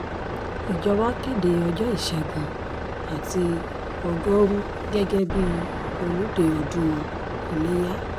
ìjọba kéde ọjọ́ ìṣẹ́gun àti ọgọ́rùú gẹ́gẹ́ bíi olùdé ọdún ilẹ́yà